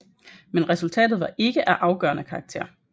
Men resultatet var ikke af afgørende karakter